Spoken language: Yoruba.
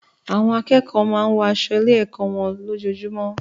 Àwọn akẹ́kọ̀ọ́ máa ń wọ aṣọ lọ sí ilé-ẹ̀kọ́ wọn lójoojúmọ́.